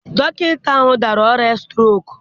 Dọkịta ahụ dara ọrịa strok.